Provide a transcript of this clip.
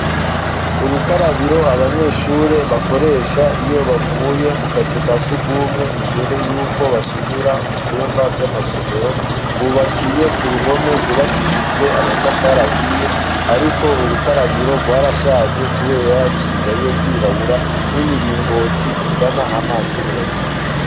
Urukarabiro abanyeshuri bakoresha iyo bavuye mu kazu ka sugumwe imbere y'uko basumira mu byumba by'amasomero rwubakiye ku ruhome rwubakishijwe amatafar ahiye ariko urukarabiro rwarashaje kubera rusigaye rwirabura n'imiringoti ntizana amazi neza.